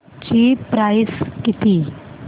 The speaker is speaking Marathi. ची प्राइस किती